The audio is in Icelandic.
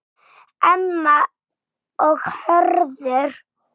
Emma og Hörður.